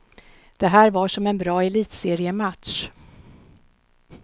Det här var som en bra elitseriematch.